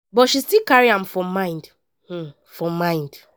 but she still carry am for mind. for mind.